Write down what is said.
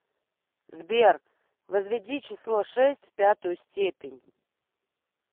сбер возведи число шесть в пятую степень